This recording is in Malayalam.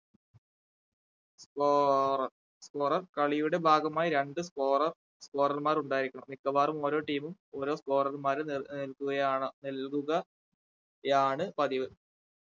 സ്‌കോ അഹ് scorer കളിയുടെ ഭാഗമായി രണ്ടു scorer scorer മാർ ഉണ്ടായിരിക്കണം മിക്കവാറും ഓരോ team ഉം ഓരോ scorer മാരെ ന ഏർ നൽകുകയാണ് നൽകുക യാണ് പതിവ്